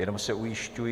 Jenom se ujišťuji.